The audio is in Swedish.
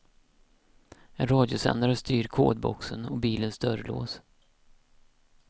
En radiosändare styr kodboxen och bilens dörrlås.